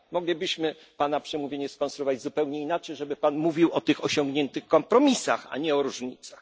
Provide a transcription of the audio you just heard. Moglibyśmy pana przemówienie skonstruować zupełnie inaczej, żeby pan mówił o tych osiągniętych kompromisach, a nie o różnicach.